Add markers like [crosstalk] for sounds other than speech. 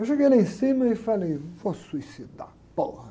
Eu joguei lá em cima e falei, vou suicidar. [unintelligible]